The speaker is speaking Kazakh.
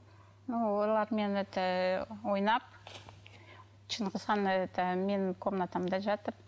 олармен это ойнап шыңғысхан это менің комнатамда жатып